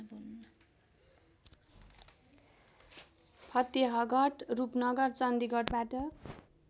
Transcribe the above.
Fatehgarh Rupnagar चन्डीगढबाट